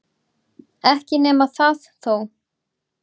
Ekki nema það þó!